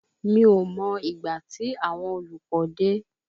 Mi ò mọ ìgbà tí àwọn olùkọ́ dé